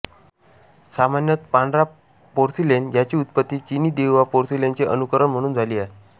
सामान्यतः पांढरा पोर्सिलेन ज्याची उत्पत्ती चिनी देहुआ पोर्सिलेनचे अनुकरण म्हणून झाली आहे